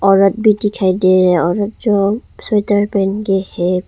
औरत भी दिखाई दे रहे हैं औरत जो स्वेटर पहनके हैं।